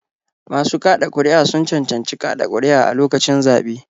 Masu kaɗa ƙuri'a sun cancanci kaɗa ƙuri'a a lokacin zaɓe.